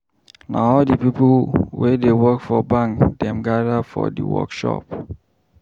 Na all di pipo wey dey work for bank dem gada for di workshop.